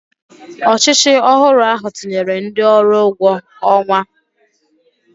Ọchịchị ọhụrụ ahụ tinyere ndị ọrụ ụgwọ ọnwa